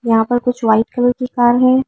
यहां पर कुछ वाइट कलर की कार है।